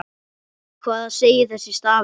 Hvað segir þessi stafur?